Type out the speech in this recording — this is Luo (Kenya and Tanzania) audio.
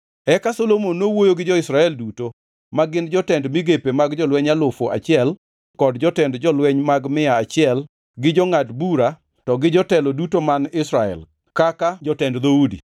Eka Solomon nowuoyo gi jo-Israel duto, magin jotend migepe mag jolweny alufu achiel kod jotend jolweny mag mia achiel, gi jongʼad bura, to gi jotelo duto man Israel, kaka jotend dhoudi.